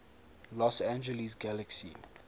los angeles galaxy